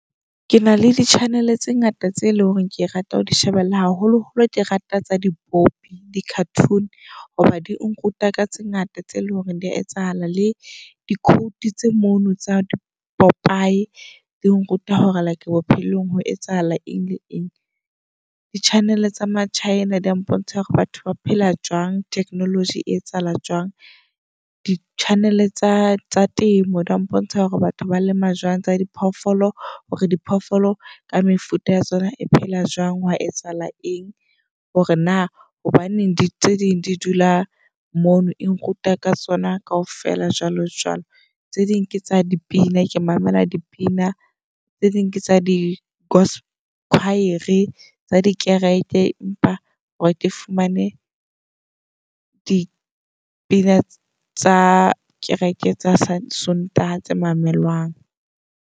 Ke na le di-channel tse ngata tse e leng hore ke rata ho di shebella. Haholo holo ke rata tsa dipopi. Di-cartoon hoba di a nruta ka tse ngata tse leng hore dia etsahala. Le di-quote tse mono tsa di-popeye di nruta hore like bophelong ho etsahala eng le eng. Di -channel tsa maChina di ya mpontsha hore batho ba phela jwang - technology e etsahalang jwang. Di-channel tsa temo di ya mpontsha hore batho ba lema jwang, tsa diphoofolo hore diphoofolo ka mefuta ya tsona e phela jwang hwa etsahala eng. Hore na hobaneng di tse ding di dula mono e nruta ka tsona kaofela, jwalo jwalo. Tse ding ke tsa dipina. Ke mamela dipina, tse ding tsa di go's choir-e tsa dikereke. Empa hore ke fumane dipina tsa kereke tsa sontaha tse mamelwang.